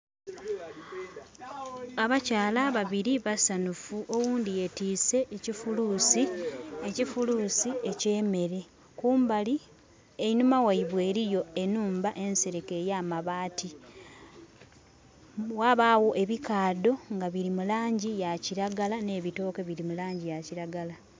Abakyala ababiri basanhufu oghundhi yetwise ekifulusi, ekifulusi ekye meere. Kumbali einhuma gheibwe eriyo enhumba ensereke eyamabati. Ghabagho ebikadho ebya kilagala ne ebitooke biri mulangi eya kilagala.